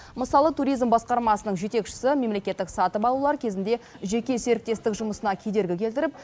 мысалы туризм басқармасының жетекшісі мемлекеттік сатып алулар кезінде жеке серіктестік жұмысына кедергі келтіріп